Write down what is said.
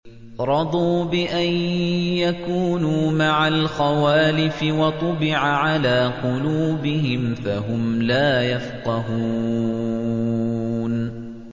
رَضُوا بِأَن يَكُونُوا مَعَ الْخَوَالِفِ وَطُبِعَ عَلَىٰ قُلُوبِهِمْ فَهُمْ لَا يَفْقَهُونَ